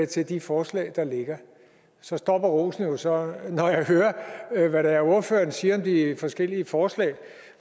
til de forslag der ligger så stopper rosen jo så når jeg hører hvad det er ordføreren siger om de forskellige forslag